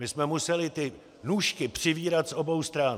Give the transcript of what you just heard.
My jsme museli ty nůžky přivírat z obou stran.